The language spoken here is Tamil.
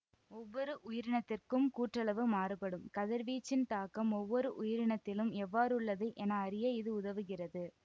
ஒவ்வொரு உயிரினத்திற்கும் கூற்றளவு மாறுபடும் கதிர்வீச்சின் தாக்கம் ஒவ்வொரு உயிரினத்திலும் எவ்வாறுள்ளது என அறிய இது உதவுகிறது